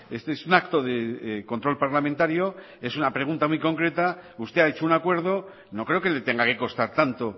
este es un acto de control parlamentario es una pregunta muy concreta usted ha hecho un acuerdo no creo que le tenga que costar tanto